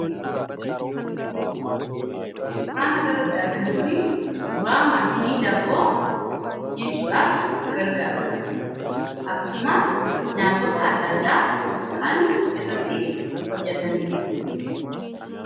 Suuraan asirratti arginu kun suuraa maashinii daabboo bukeessuudhaaf gargaarudha. Akkasumas nyaatota adda addaa kan irratti hojjatanidha.